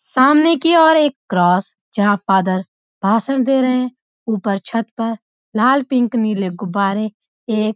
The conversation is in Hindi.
सामने की ओर एक क्रॉस जहां फ़ादर भाषण दे रहे हैं ऊपर छत पर लाल पिंक नीले गुब्बारे एक --